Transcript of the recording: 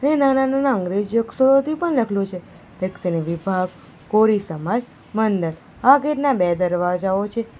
એ નાના-નાના અંગ્રેજી અક્ષરોથી પણ લખલું છે દક્ષિણ વિભાગ કોરી સમાજ મંડળ આ ગેટ ના બે દરવાજાઓ છે.